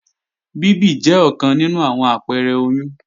Bíbì jẹ́ ọ̀kan nínú àwọn àpẹrẹ oyún